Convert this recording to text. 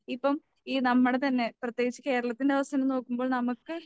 ഇപ്പം ഈ നമ്മടെ തന്നെ പ്രത്യേകിച്ച് കേരളത്തിൻ്റെ അവസ്ഥ തന്നെ നോക്കുമ്പോ നമുക്ക്